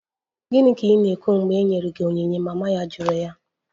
Gịnị ka ị na-ekwu mgbe e nyere gị onyinye? Mama ya jụrụ ya